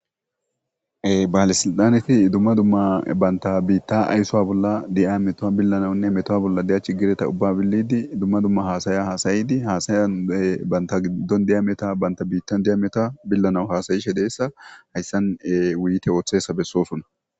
Baalisildaneti dumma dumma banta biitta ayssowa bolla di7a metoa billanaunne metowa bolla deyach gireta ubba billidi dumma dumma haasaya haasayidi haasayan banta giddon diyameta banta biittan diyameta billana haasayishe deessa hayssan wuyite ooththesa bessoosunna.